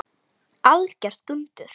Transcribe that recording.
Algjört dúndur!